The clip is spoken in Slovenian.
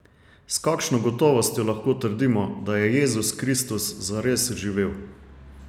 S kakšno gotovostjo lahko trdimo, da je Jezus Kristus zares živel?